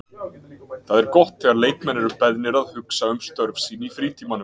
Það er gott þegar leikmenn eru beðnir að hugsa um störf sín í frítímanum.